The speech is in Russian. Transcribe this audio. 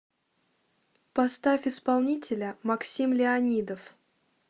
поставь исполнителя максим леонидов